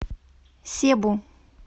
себу